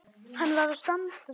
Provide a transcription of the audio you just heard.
Hann varð að standa sig.